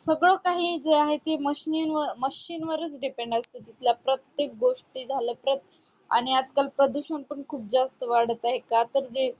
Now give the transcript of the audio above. सगळं काही आहे जे आहे ते सर्व machine व machine वरच depend असत तिथल्या प्रत्येक गोष्टी झाल्या प्रत आणि आज काळ प्रदूषण पण खूप जास्त वाढत आहे का तर जे